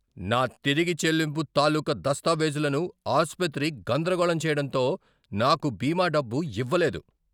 నా తిరిగి చెల్లింపు తాలూక దస్తావేజులను ఆసుపత్రి గందరగోళం చేయడంతో నాకు బీమా డబ్బు ఇవ్వలేదు.